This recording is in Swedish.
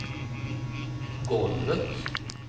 golvet